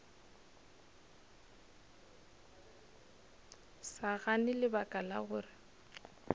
sa gane lebaka la gore